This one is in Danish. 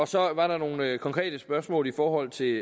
så var der nogle konkrete spørgsmål i forhold til